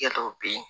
Kɛ dɔw be yen